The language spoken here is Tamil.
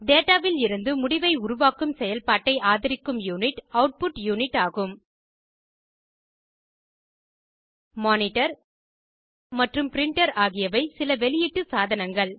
டேடா விலிருந்து முடிவை உருவாக்கும் செயல்பாட்டை ஆதரிக்கும் யூனிட் அவுட்புட் யூனிட் ஆகும் மானிடர் மற்றும் ப்ரின்டர் ஆகியவை சில வெளியீட்டு சாதனங்கள்